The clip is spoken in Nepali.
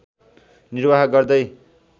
निर्वाह गर्दै